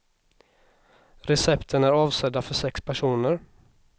Recepten är avsedda för sex personer.